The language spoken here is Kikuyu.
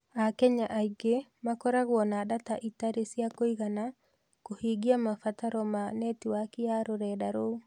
Akenya aingĩ makoragwo na data itarĩ cia kũigana kũhingia mabataro ma netiwaki ya rũrenda rou.